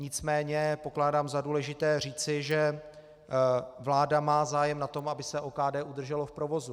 Nicméně pokládám za důležité říci, že vláda má zájem na tom, aby se OKD udrželo v provozu.